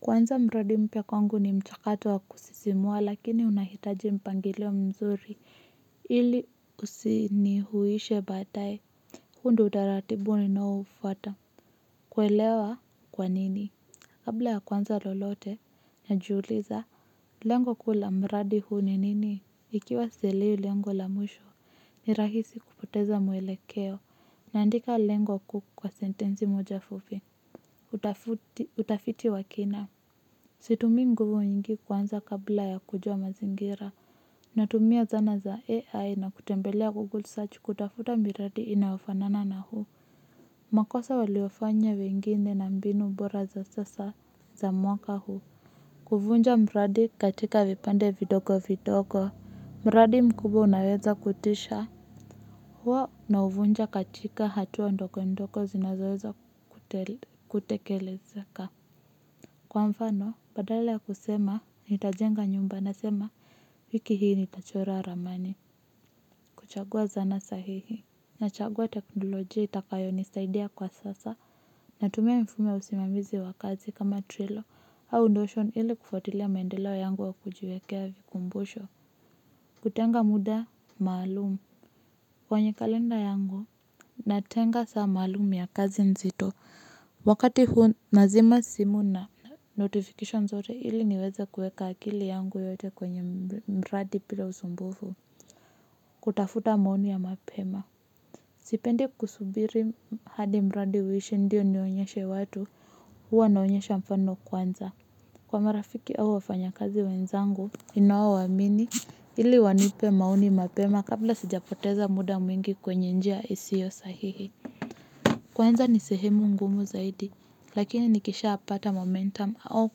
Ku anza mradi mpya kwangu ni mchakato wa kusisimua lakini una hitaji mpangilio mzuri ili usinihuwishe baadae huo ndo utaratibu ninao ufuata. Ku elewa kwanini kabla ya kuanza lolote najiuliza lengo kuu la mradi huu ni nini ikiwa sielewi lengo la mwisho. Ni rahisi kupoteza mwelekeo naandika lengo kuu kwa sentensi moja fupi utafiti wa kina. Situmii nguvu nyingi kuanza kabla ya kujua mazingira. Natumia zana za AI na kutembelea Google Search kutafuta miradi inayofanana na huu. Makosa waliyofanya wengine na mbinu mbora za sasa za mwaka huu. Kuvunja mradi katika vipande vidogo vidogo. Mradi mkubwa unaweza kutisha huwa nauvunja katika hatua ndogondogo zinazoweza kutekelezeka. Kwa mfano, badala ya kusema, nitajenga nyumba na sema, wiki hii nitachora ramani, kuchagua zana sahihi, nachagua teknolojia itakayo nisaidia kwa sasa, natumia mifumo ya usimamizi wa kazi kama trilo, au notion ili kufuatilia maendeleo yangu ya kujiwekea vikumbusho, kutenga muda, maalumu, kwenye kalenda yangu, natenga saa maalum ya kazi nzito, wakati huu nazima simu na notification zote ili niweze kueka akili yangu yote kwenye mradi bila usumbufu kutafuta maoni ya mapema sipendi kusubiri hadi mradi uishe ndio nionyeshe watu huwa naonyesha mfano kwanza kwa marafiki au wafanya kazi wenzangu ninao wamini ili wanipe maoni mapema kabla sijapoteza muda mwingi kwenye njia isiyo sahihi kuanza ni sehemu ngumu zaidi lakini nikishapata momentum au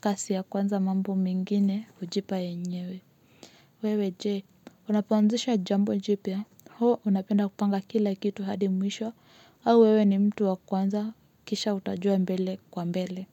kasi ya kuanza mambo mengine hujipa yenyewe. Wewe je unapoanzisha jambo jipya, hua unapenda kupanga kila kitu hadi mwisho, au wewe ni mtu wa kuanza, kisha utajua mbele kwa mbele.